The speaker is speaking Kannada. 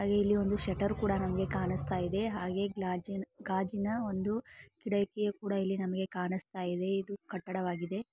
ಅಲ್ಲಿ ಇಲ್ಲಿ ಒಂದು ಶೆಟ್ಟರ್ ಕೂಡ ನಮಗೆ ಕಾನಿಸ್ತಾಇದೆ ಹಾಗೆ ಗಾಜಿ ಗಾಜಿನ ಒಂದು ಕಿಡಕಿ ಕೂಡ ಈಳಿ ನಮಗೆ ಕಾನಿಸ್ತಾಇದೆ ಇದು ಕಟಡವಾಗಿದೆ.